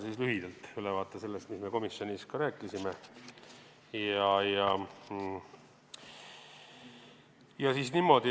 Annan lühidalt ülevaate sellest, mis me komisjonis rääkisime.